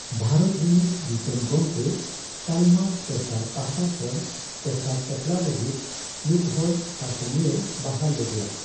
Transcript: ᱵᱷᱟᱨᱚᱛ ᱨᱤᱱᱤᱡᱽ ᱫᱤᱥᱚᱢ ᱜᱚᱢᱜᱮ ᱛᱟᱞᱢᱟ ᱥᱚᱨᱠᱟᱨ ᱯᱟᱦᱴᱟ ᱠᱷᱚᱱ ᱴᱚᱴᱷᱟ ᱪᱟᱪᱞᱟᱣ ᱞᱟᱹᱜᱤᱫ ᱢᱤᱫᱦᱚᱲ ᱥᱟᱥᱚᱱᱤᱭᱟᱹᱭ ᱵᱟᱦᱟᱞ ᱞᱮᱫᱮᱭᱟ ᱾